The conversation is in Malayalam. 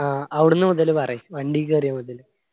ആ അവിടുന്ന് മുതല് പറയ്. വണ്ടി കേറിയ മുതല്.